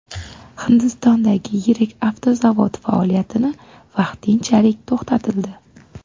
Hindistondagi yirik avtozavod faoliyatini vaqtinchalik to‘xtatildi.